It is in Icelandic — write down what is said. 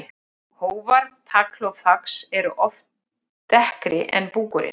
Hófar, tagl og fax eru oft dekkri en búkurinn.